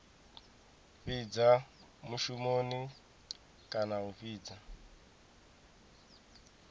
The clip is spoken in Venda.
fhidza mushumoni kana a fhidza